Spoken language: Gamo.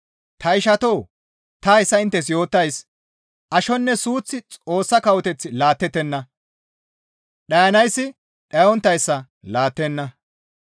Ta ishatoo! Ta hayssa inttes yootays ashoynne suuththi Xoossa kawoteth laattettenna; dhayanayssi dhayonttayssa laattenna.